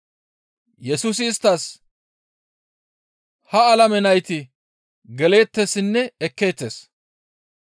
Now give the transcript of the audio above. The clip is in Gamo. Yesusi isttas, «Ha alame nayti geleettessinne ekkeettes.